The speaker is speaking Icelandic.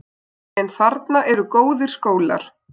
En þarna eru góðir skólar.